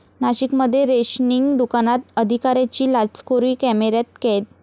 नाशिकमध्ये रेशनिंग दुकानात अधिकाऱ्याची लाचखोरी कॅमेऱ्यात कैद